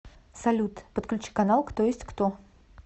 салют подключи канал кто есть кто